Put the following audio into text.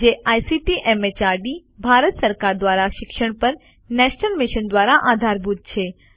જે ICT MHRD Bharat સરકાર દ્વારા શિક્ષણ પર નેશનલ મિશન દ્વારા આધારભૂત છે